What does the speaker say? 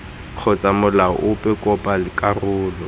kgotsa molao ope kopa karolo